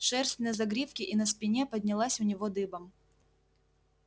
шерсть на загривке и на спине поднялась у него дыбом